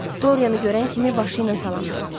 Doryanı görən kimi başı ilə salam verdi.